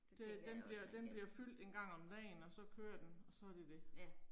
Det den bliver den bliver fyldt en gang om dagen, og så kører den, og så er det det